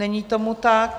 Není tomu tak.